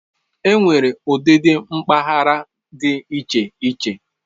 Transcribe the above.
Enwere ụdị ụdị mpaghara dị iche iche.